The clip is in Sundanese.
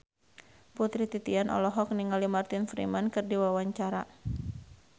Putri Titian olohok ningali Martin Freeman keur diwawancara